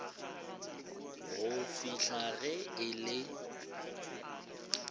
go fihla ge e le